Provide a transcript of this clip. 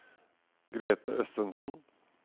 Grete Østensen